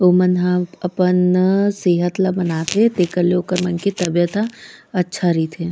उमन ह अपन सेहत ले बनाथे तेकर ले ओकर मन के तबीयत ह अच्छा रईथे।